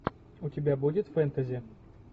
у тебя будет фэнтези